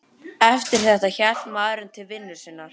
Eftir þetta hélt maðurinn til vinnu sinnar.